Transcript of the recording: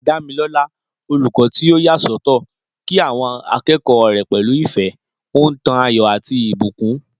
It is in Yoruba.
Damilola, olùkọ́ tí ó yà sọ́tọ̀, kí àwọn akẹ́kọ̀ọ́ rẹ̀ pẹ̀lú ìfẹ́, ó ń tan ayọ̀ àti ìbùkún.